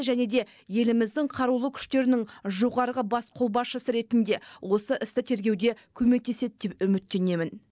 және де еліміздің қарулы күштерінің жоғарғы бас қолбасшысы ретінде осы істі тергеуде көмектеседі деп үміттенемін